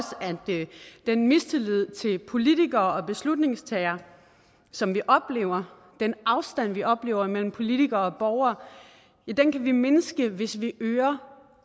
den mistillid til politikere og beslutningstagere som vi oplever den afstand vi oplever imellem politikere og borgere kan vi mindske hvis vi øger